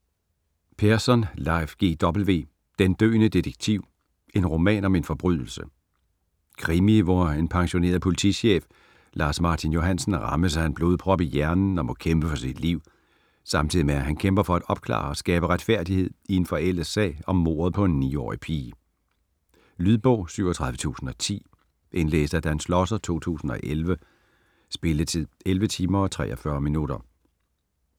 Persson, Leif G. W.: Den døende detektiv: en roman om en forbrydelse Krimi hvor en pensionerede politichef Lars Martin Johansen rammes af en blodprop i hjernen og må kæmpe for sit liv, samtidig med at han kæmper for at opklare og skabe retfærdighed i en forældet sag om mordet på en 9-årig pige. Lydbog 37010 Indlæst af Dan Schlosser, 2011. Spilletid: 11 timer, 43 minutter.